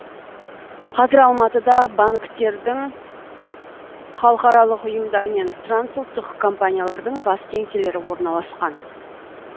қазір алматыда банктердің халықаралық ұйымдар мен трансұлттық компаниялардың бас кеңселері орналасқан